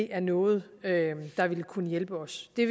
er noget der vil kunne hjælpe os det